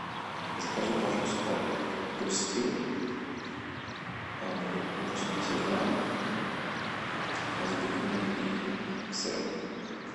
закажи пачку сухариков хрустим восемьдесят грамм с беконом и сыром